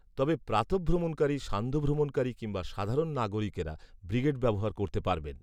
তবে প্রাতঃভ্রমণকারী সান্ধ্যভ্রমণকারী কিংবা সাধারণ নাগরিকেরা ব্রিগেড ব্যবহার করতে পারবেন